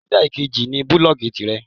Linda Ìkejì ní búlòògì tirẹ̀.